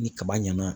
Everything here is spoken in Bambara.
Ni kaba ɲɛna ,